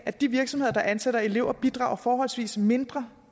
at de virksomheder der ansætter elever bidrager forholdsvis mindre